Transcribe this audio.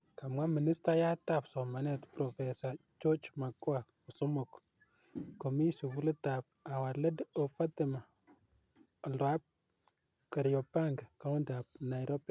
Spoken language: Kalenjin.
Kamwa ministayaat ap somaneet Prof. George Magoha kosomok komite sugulit ap Our lady of Fatima oldoap Kariobangi, county ap Nairobi.